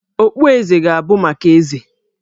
Okpueze ga-abụ maka Eze